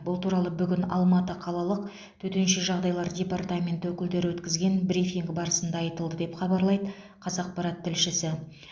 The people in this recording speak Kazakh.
бұл туралы бүгін алматы қалалық төтенше жағдайлар департаменті өкілдері өткізген брифинг барысында айтылды деп хабарлайды қазақпарат тілшісі